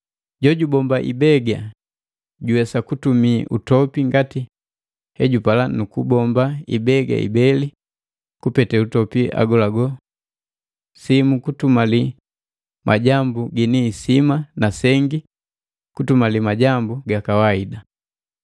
Jojubomba ibega juwesa kutumi utopi ngati hejupala nu kubomba ibega ibeli kupete utopi agolago, simu kutumalia majambu gini isima na sengi kutumala majambu gakawaida.